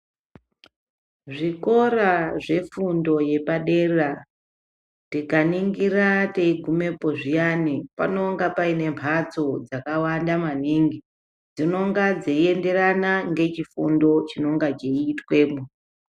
Zvikora zvefundo yepadera tikaningira teigumepo zviyani panonga paina mhatso dzakawanda maningi dzinonga dzeienderana ngechifundo chinonga cheitwapo .